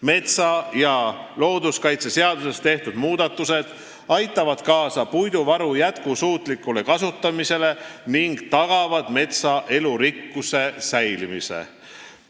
Metsa- ja looduskaitseseaduses tehtud muudatused aitavad kaasa puiduvaru jätkusuutlikule kasutamisele ning tagavad metsa elurikkuse säilimise.